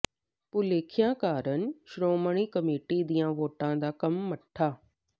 ਭੁਲੇਖਿਆਂ ਕਾਰਨ ਸ਼੍ਰੋਮਣੀ ਕਮੇਟੀ ਦੀਆਂ ਵੋਟਾਂ ਦਾ ਕੰਮ ਮੱਠਾ